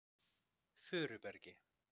Furubergi